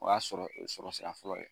O y'a sɔrɔ sɔrɔ sira fɔlɔ ye,